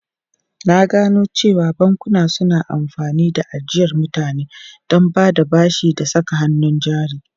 Na gano cewa bankuna suna amfani da ajiyar mutane don bada bashi da saka hannun jari.